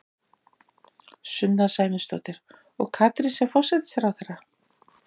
Sunna Sæmundsdóttir: Og Katrín sem forsætisráðherra?